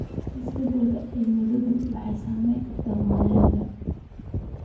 Isbeddelka cimiladu waxay saameyn kartaa wanaagga.